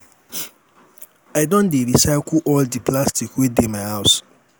i don dey recycle all di plastic wey dey my house.